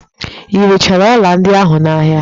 I rechara ọla ndị ahụ n'ahia?